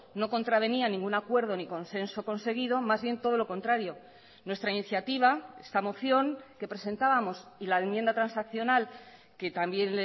no contravenía ningún acuerdo ni consenso conseguido más bien todo lo contrario nuestra iniciativa esta moción que presentábamos y la enmienda transaccional que también